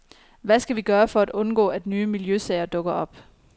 Hvad skal vi gøre for at undgå, at nye miljøsager dukker op.